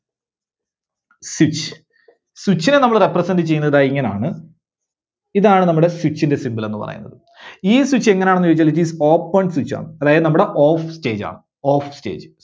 Switch, Switch നെ നമ്മള് represent ചെയ്യുന്നത് ദാ ഇങ്ങനാണ്. ഇതാണ് നമ്മുടെ switch ന്റെ symbol ന്ന് പറയുന്നത്. ഈ switch എങ്ങനെയാണെന്ന് ചോദിച്ചാൽ ഇത് open switch ആണ് അതായത് നമ്മുടെ off stage ആണ്, off stage.